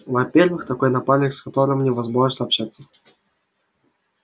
во-первых такой напарник с которым невозможно общаться